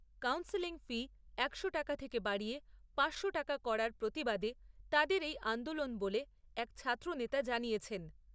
Counselling fee একশো টাকা থেকে বাড়িয়ে পাঁচশো টাকা করার প্রতিবাদে তাদের এই আন্দোলন বলে এক ছাত্র নেতা জানিয়েছেন।